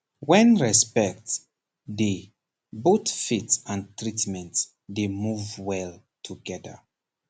when respect dey both faith and treatment dey move well together